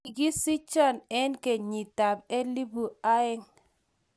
Kigisicho eng kenyitab elbu aeng